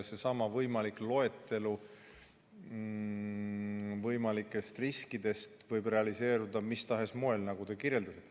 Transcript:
Seesama võimalik loetelu võimalikest riskidest võib realiseeruda mis tahes moel, nagu te kirjeldasite.